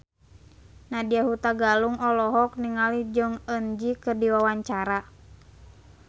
Nadya Hutagalung olohok ningali Jong Eun Ji keur diwawancara